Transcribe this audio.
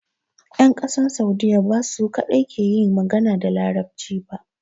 Yan ƙasan Saudiya ba su kadai ke iya yin magana da larabci ba